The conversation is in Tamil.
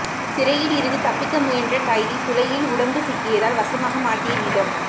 சிறையிலிருந்து தப்பிக்க முயன்ற கைதி துளையில் உடம்பு சிக்கியதால் வசமாக மாட்டிய விதம்